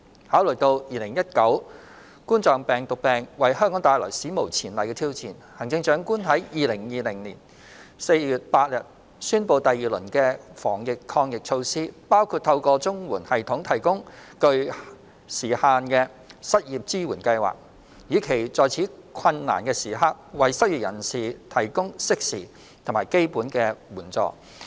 考慮到2019冠狀病毒病為香港帶來史無前例的挑戰，行政長官在2020年4月8日宣布第二輪的防疫抗疫措施，包括透過綜援系統提供具限時性的失業支援計劃，以期在此困難時刻為失業人士提供適時和基本的援助。